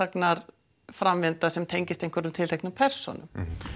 frásagnarframvinda sem tengist tilteknum persónum